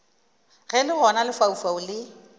ge le gona lefaufau le